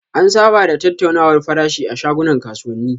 An saba da tattaunawar farashi a shagunan kasuwani.